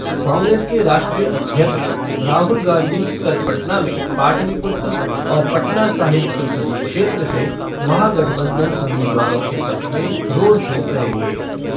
कांग्रेस के राष्ट्रीय अध्यक्ष राहुल गांधी कल पटना में पाटलिपुत्र और पटना साहिब संसदीय क्षेत्र से महागठबंधन उम्मीदवारों के पक्ष में रोड शो करेंगे।